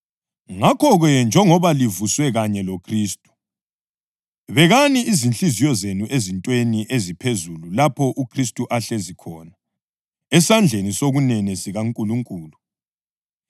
Ngakho-ke njengoba livuswe kanye loKhristu, bekani inhliziyo zenu ezintweni eziphezulu lapho uKhristu ahlezi khona esandleni sokunene sikaNkulunkulu.